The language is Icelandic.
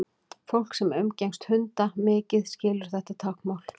fólk sem umgengst hunda mikið skilur þetta táknmál